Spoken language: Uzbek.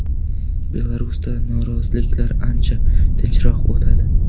Belarusda noroziliklar ancha tinchroq o‘tadi.